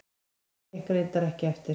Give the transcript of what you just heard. Það gekk reyndar ekki eftir.